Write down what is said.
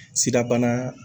Sirabana